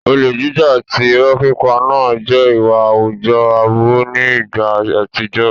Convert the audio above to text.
Olè jíjà àti ìrọ́ pípa náà jẹ́ ìwà àwùjọ aburú ní ìgbà àtijọ́.